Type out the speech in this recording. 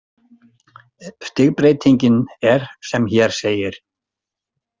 Stigbreytingin er sem hér segir.